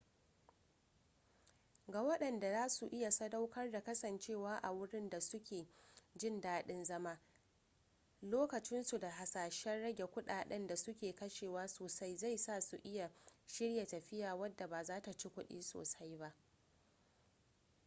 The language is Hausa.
ga waɗanda za su iya sadaukar da kasancewa a wurin da su ke jin dadin zama lokacinsu da hasashen rage kudaden da su ke kashewa sosai zai sa su iya shirya tafiya wadda ba zata ci kudi sosai ba